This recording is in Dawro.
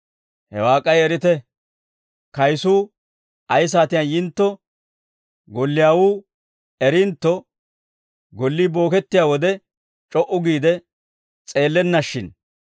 Hawaa k'ay erite; kayisuu ay saatiyaan yintto golliyaawuu erintto, gollii bookettiyaa wode c'o"u giide s'eellennashshin.